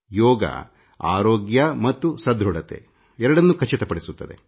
ಯೋಗ ಆರೋಗ್ಯ ಮತ್ತು ಸದೃಢತೆ ಎರಡನ್ನೂ ಖಚಿತಪಡಿಸುತ್ತದೆ